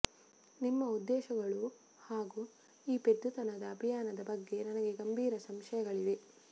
ನಿಮ್ಮ ಉದ್ದೇಶಗಳು ಹಾಗು ಈ ಪೆದ್ದುತನದ ಅಭಿಯಾನದ ಬಗ್ಗೆ ನನಗೆ ಗಂಭೀರ ಸಂಶಯಗಳಿವೆ